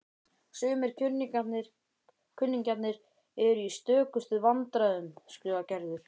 Sumir kunningjarnir eru í stökustu vandræðum skrifar Gerður.